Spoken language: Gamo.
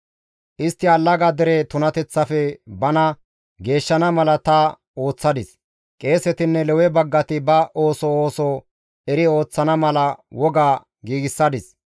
Istti allaga dere tunateththafe bana Geeshshana mala ta ooththadis, qeesetinne Lewe baggati ba ooso ooso eri ooththana mala woga giigsadis.